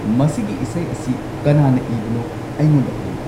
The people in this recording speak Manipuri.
ꯃꯁꯤꯒꯤ ꯏꯁꯩ ꯑꯁꯤ ꯀꯅꯥꯅ ꯏꯕꯅꯣ ꯑꯩꯉꯣꯟꯗ ꯍꯥꯏꯌꯨ